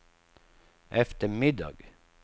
eftermiddag